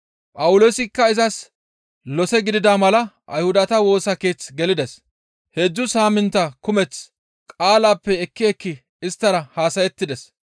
Phawuloosikka izas lose gidida mala Ayhudata Woosa Keeth gelides; heedzdzu saamintta kumeth qaalappe ekki ekki isttara haasayettides.